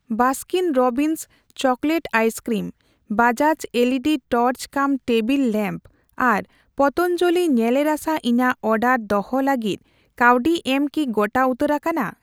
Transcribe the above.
Baskin Robbins chocolate ice cream, Bajaj LED torch cum table lamp, ᱟᱨ ᱯᱟᱛᱟᱱᱡᱟᱞᱤ ᱧᱮᱞᱮ ᱨᱟᱥᱟ ᱤᱧᱟᱜ ᱚᱰᱟᱨ ᱫᱚᱦᱚ ᱞᱟᱹᱜᱤᱫ ᱠᱟᱹᱣᱰᱤ ᱮᱢ ᱠᱤ ᱜᱚᱴᱟ ᱩᱛᱟᱹᱨ ᱟᱠᱟᱱᱟ ?